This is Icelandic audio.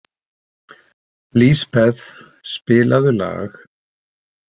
Lisbeth, spilaðu lag.